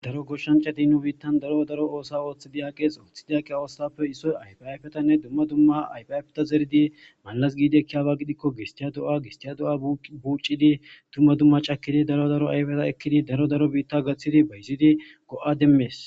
daro goshshanti nu biittan daro daro oosa ooththidi aqees ooththidiaqe oossappe issoy ayfaaafetanne dumma dumma ayaafeta zeridi malas giidikkiyaaba gidikko gistiya do7a gistiya do7a buuccidi dumma dumma cakidi daro daro ayfeta ekkidi daro daro biitta gaththidi bayzidi go7a demmees